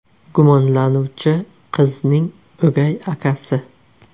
Gumonlanuvchi qizning o‘gay akasi.